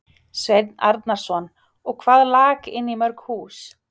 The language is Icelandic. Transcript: Sveinn Arnarson: Og hvað lak inn í mörg hús?